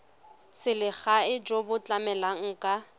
selegae jo bo tlamelang ka